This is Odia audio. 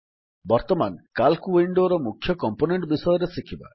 ବର୍ତ୍ତମାନ ସିଏଏଲସି ୱିଣ୍ଡୋର ମୁଖ୍ୟ କମ୍ପୋନେଣ୍ଟ ବିଷୟରେ ଶିଖିବା